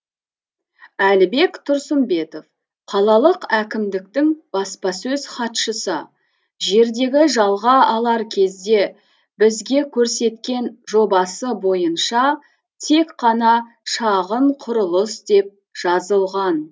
әлібек тұрсынбетов қалалық әкімдіктің баспасөз хатшысы жерді жалға алар кезде бізге көрсеткен жобасы бойынша тек қана шағын құрылыс деп жазылған